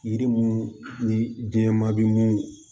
Yiri mun ni diɲɛ ma bi mun